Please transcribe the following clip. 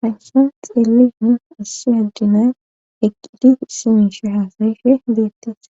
hayssa xeeli nu assi addina eqqidi siinshi haasashe deettes